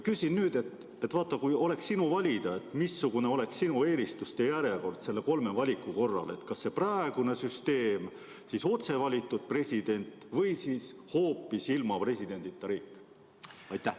Kui oleks sinu valida, missugune oleks sinu eelistuste järjekord nende kolme valiku korral: kas praegune süsteem või otsevalitud president või hoopis ilma presidendita riik?